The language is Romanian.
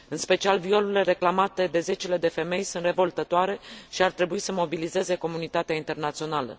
În special violurile reclamate de zecile de femei sunt revoltătoare și ar trebui să mobilizeze comunitatea internațională.